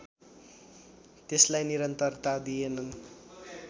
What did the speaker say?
त्यसलाई निरन्तरता दिएनन्